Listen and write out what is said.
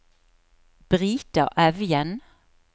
Brita Evjen